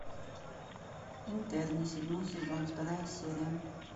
интерны седьмой сезон вторая серия